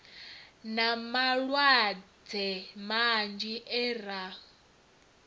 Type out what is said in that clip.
na malwadze manzhi e ra